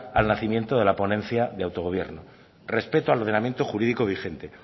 al nacimiento de la ponencia de autogobierno respecto al ordenamiento jurídico vigente